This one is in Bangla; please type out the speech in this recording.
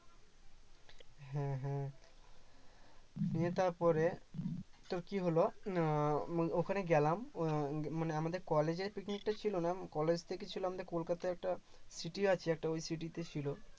হ্যাঁ হ্যাঁ গিয়ে তারপরে তোর কি হলো আহ ওখানে গেলাম উম মানে আমাদের কলেজে picnic ছিল না কলেজ থেকে ছিল আমাদের কলকাতায় একটা city আছে ওই city তে ছিল